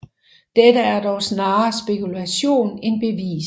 Dette er dog snarere spekulation end bevist